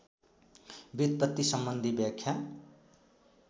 व्युत्पत्ति सम्बन्धी व्याख्या